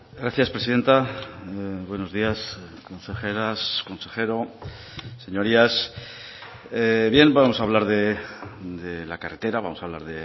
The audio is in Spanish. gracias presidenta buenos días consejeras consejero señorías bien vamos a hablar de la carretera vamos a hablar